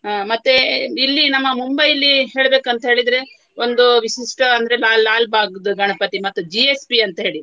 ಅಹ್ ಮತ್ತೆ ಇಲ್ಲಿ ನಮ್ಮ ಮುಂಬೈಯಲ್ಲಿ ಹೇಳ್ಬೇಕಂತ ಹೇಳಿದ್ರೆ ಒಂದು ವಿಶಿಷ್ಟ ಅಂದ್ರೆ ಬಾ~ ಲಾಲ್ಬಾಗ್ದು ಗಣಪತಿ ಮತ್ತು GSB ಅಂತ ಹೇಳಿ.